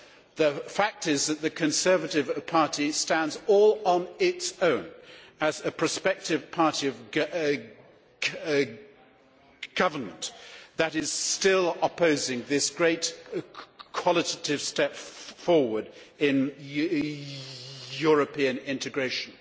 The fact is that the Conservative Party stands all on its own as a prospective party of government that is still opposing this great qualitative step forward in European integration.